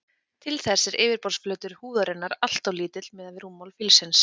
Til þess er yfirborðsflötur húðarinnar alltof lítill miðað við rúmmál fílsins.